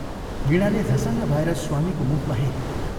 वीणाले झसङ्ग भएर स्वामीको मुखमा हेरी।